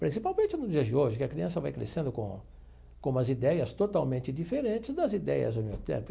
Principalmente no dia de hoje, que a criança vai crescendo com com umas ideias totalmente diferentes das ideias do meu tempo.